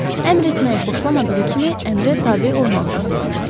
Əmr etməyi xoşlamadığı kimi, əmrə tabe olmağı da sevmirirdi.